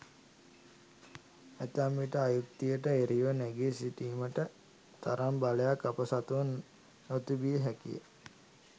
ඇතැම් විට අයුක්තියට එරෙහිව නැගී සිටීමට තරම් බලයක් අප සතුව නොතිබිය හැකිය.